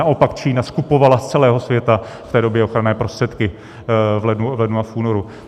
Naopak Čína skupovala z celého světa v té době ochranné prostředky - v lednu a v únoru.